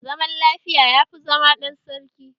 Zaman lafiya yafi zama ɗan sarki.